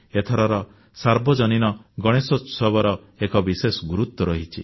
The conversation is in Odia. ଏଥରର ସାର୍ବଜନୀନ ଗଣେଶୋତ୍ସବର ଏକ ବିଶେଷ ଗୁରୁତ୍ୱ ରହିଛି